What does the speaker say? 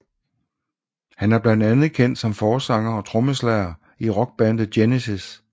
Han er blandt andet kendt som forsanger og trommeslager i rockbandet Genesis